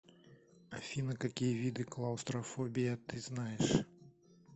афина какие виды клаустрофобия ты знаешь